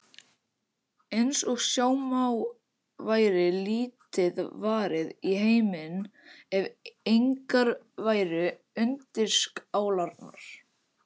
Eins og sjá má væri lítið varið í heiminn ef engar væru undirskálarnar.